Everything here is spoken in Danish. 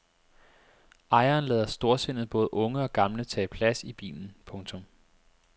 Ejeren lader storsindet både unge og gamle tage plads i bilen. punktum